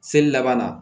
Seli laban na